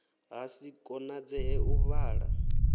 ha si konadzee u vala